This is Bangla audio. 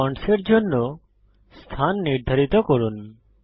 ফন্টস এর জন্য স্থান নির্ধারিত করুন